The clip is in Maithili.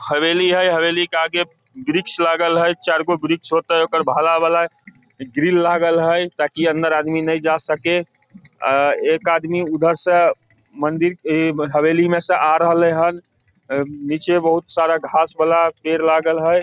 हवेली हेय हवेली के आगे वृक्ष लगाल हेय चार गो वृक्ष होयते ओकर ग्रील लागल हेय ताकी अंदर आदमी ने जा सके आ एक आदमी उधर से मंदिर हवेली मे से आ रहले हन नीचे बहुत सारा घास वाला पेड़ लागल हेय।